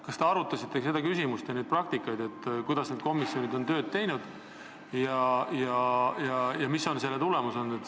Kas te arutasite seda küsimust, kuidas sellised komisjonid varem on tööd teinud ja mis on olnud selle tulemus?